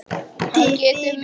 Það getur miklu breytt.